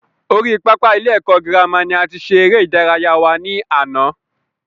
Orí pápá ilé ẹ̀kọ́ girama ni a ti ṣe eré ìdárayá wa ní àná